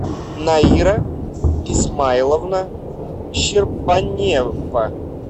наира исмаиловна щербанева